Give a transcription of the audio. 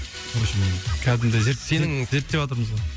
вообщем кәдімгідей сенің зерттеватырмыз ғой